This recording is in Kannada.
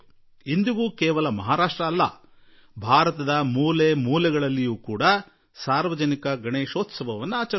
ಇವತ್ತಿಗೂ ಕೇವಲ ಮಹಾರಾಷ್ಟ್ರದಲ್ಲಿ ಮಾತ್ರವಲ್ಲದೆ ಭಾರತದ ಮೂಲೆ ಮೂಲೆಯಲ್ಲೂ ಸಾರ್ವಜನಿಕ ಗಣೇಶೋತ್ಸವ ನಡೆಯಲು ಆರಂಭಿಸಿದೆ